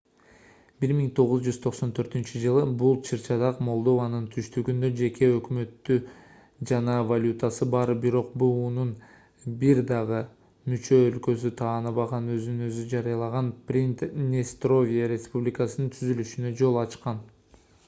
1994-жылы бул чыр-чатак молдованын түштүгүндө жеке өкмөтү жана валютасы бар бирок буунун бир дагы мүчө өлкөсү тааныбаган өзүн өзү жарыялаган приднестровье республикасынын түзүлүшүнө жол ачкан